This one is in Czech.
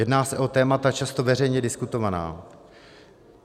Jedná se o témata často veřejně diskutovaná.